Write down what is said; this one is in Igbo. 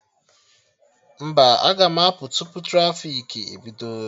Mba, aga m apụ tupu trafiki ebido